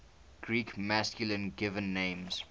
greek masculine given names